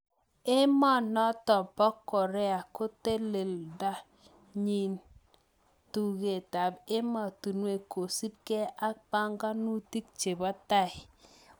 Emonotok Po Korea koteleldachin tuget ab emotinwek kosub Kee ak panganutik chebo tai